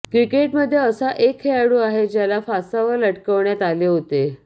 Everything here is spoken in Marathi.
क्रिकेटमध्ये असा एक खेळाडू आहे ज्याला फासावर लटकवण्यात आले होते